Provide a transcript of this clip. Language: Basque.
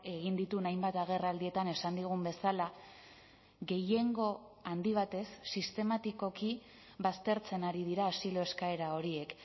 egin dituen hainbat agerraldietan esan digun bezala gehiengo handi batez sistematikoki baztertzen ari dira asilo eskaera horiek